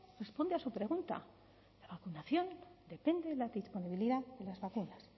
responde a su pregunta vacunación depende de la disponibilidad de las vacunas